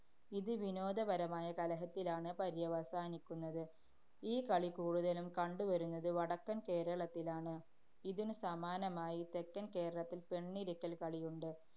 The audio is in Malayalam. ഇത് വിനോദപരമായ കലഹത്തിലാണ് പര്യവസാനിക്കുന്നത്. ഈ കളി കൂടുതലും കണ്ടുവരുന്നത് വടക്കന്‍ കേരളത്തിലാണ്. ഇതിനു സമാനമായി തെക്കന്‍ കേരളത്തില്‍ പെണ്ണിരക്കല്‍ കളിയുണ്ട്.